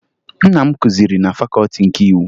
Nna m kụziri na Fakọọti nke Iwu